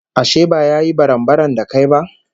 Ashe ba ya yi barambaram da kai ba?